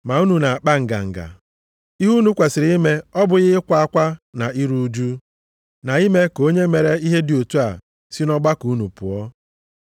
Ma unu na-akpa nganga? Ihe unu kwesiri ime ọ bụghị ịkwa akwa na iru ụjụ, na ime ka onye mere ihe dị otu a si nʼọgbakọ unu pụọ?